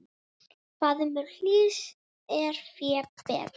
Faðmur hlýs er fé betri.